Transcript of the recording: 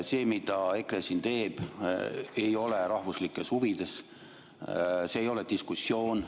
See, mida EKRE siin teeb, ei ole rahvuslikes huvides, see ei ole diskussioon.